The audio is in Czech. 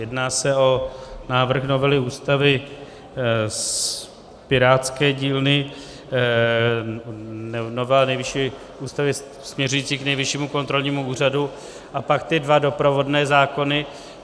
Jedná se o návrh novely Ústavy z pirátské dílny, novela Ústavy směřující k Nejvyššímu kontrolnímu úřadu a pak ty dva doprovodné zákony.